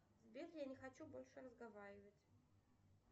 сбер я не хочу больше разговаривать